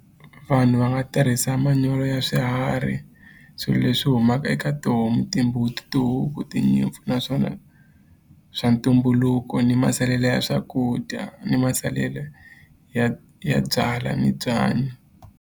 Vanhu va nga tirhisa manyoro ya swiharhi swilo leswi humaka eka tihomu timbuti tihuku tinyimpfu naswona swa ntumbuluko ni masalela ya swakudya ni masalela ya ya byala ni byanyi.